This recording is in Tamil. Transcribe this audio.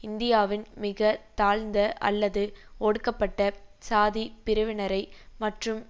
இந்தியாவின் மிக தாழ்ந்த அல்லது ஒடுக்கப்பட்ட சாதிப் பிரிவினரை மற்றும்